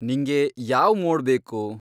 ನಿಂಗೆ ಯಾವ್ ಮೋಡ್ ಬೇಕು?